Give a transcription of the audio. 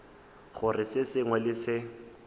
gore se sengwe le se